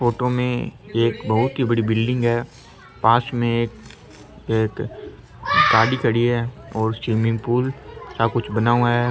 Photo में एक बहुत ही बड़ी बिल्डिंग है पास में एक गाडी खड़ी है और स्विमिंग पूल सा कुछ बना हुआ है।